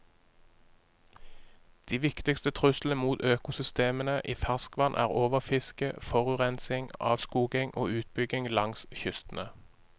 De viktigste truslene mot økosystemene i ferskvann er overfiske, forurensning, avskoging og utbygging langs kystene.